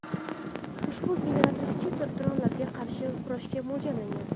Ushbu generator kichik dronlarga qarshi kurashga mo‘ljallangan.